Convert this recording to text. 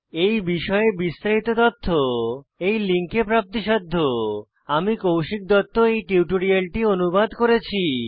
এই বিষয়ে বিস্তারিত তথ্য এই লিঙ্কে প্রাপ্তিসাধ্য httpspoken tutorialorgNMEICT Intro আমি কৌশিক দত্ত এই টিউটোরিয়ালটি অনুবাদ করেছি